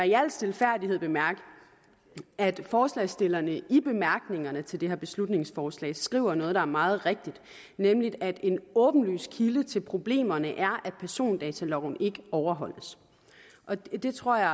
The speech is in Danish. i al stilfærdighed bemærke at forslagsstillerne i bemærkningerne til det her beslutningsforslag skriver noget der er meget rigtigt nemlig at en åbenlys kilde til problemerne er at persondataloven ikke overholdes det tror jeg